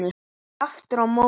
Aftur á móti